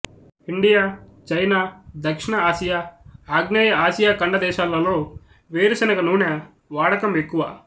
India China దక్షిణ Asia ఆగ్నేయ Asia ఖండ దేశాలలో వేరుశెనగ నూనె వాడకం ఎక్కువ